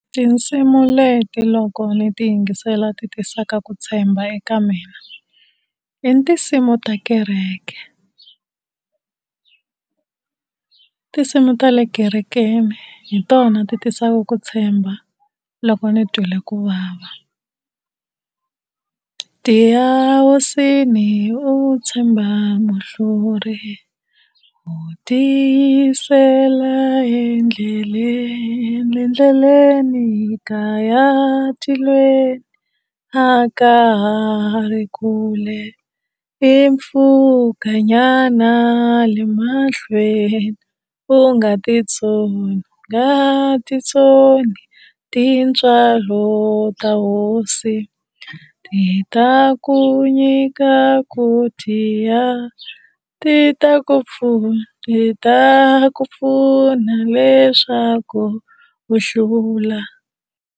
Tinsimu leti loko ni ti yingisela ti tisaka ku tshemba eka mina, i tinsimu ta kereke, i tinsimu ta le kerekeni hi tona ti tisaka ku tshemba loko ni twile ku vava. Tiya hosini u tshemba muhluri, u tiyisela endleleni, endleleni ka ya tilweni a ka ha ri kule i mpfhukanyana le mahlweni, u nga titsoni u nga titsoni tintswalo ta hosi ti ta ku nyika ku tiya ti ta ku pfuna ti ta ku pfuna leswaku u hlula.